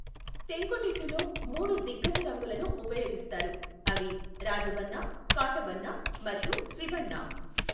తెంకుతిట్టులో, మూడు దిగ్గజ రంగులను ఉపయోగిస్తారు, అవి రాజబన్నా, కాటబన్నా మరియు స్ట్రిబన్నా.